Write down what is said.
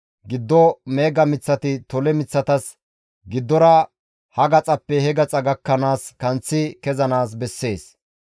Giddo meega miththati tole miththatas giddora ha gaxappe he gaxa gakkanaas kanththi kezanaas bessees.